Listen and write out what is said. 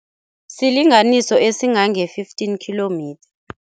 Silinganiso esingange-fifteen kilometre.